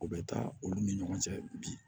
O bɛ taa olu ni ɲɔgɔn cɛ bi